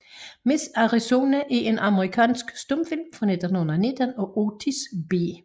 Miss Arizona er en amerikansk stumfilm fra 1919 af Otis B